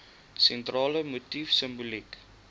sentrale motief simboliek